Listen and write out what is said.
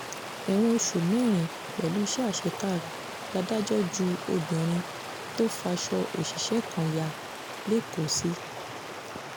ẹ̀wọ̀n oṣù mẹ́rin pẹ̀lú iṣẹ́ àṣekára ládájọ́ ju obìnrin tó faṣọ òṣìṣẹ́ kai ya lẹ́kọ̀ọ́ sí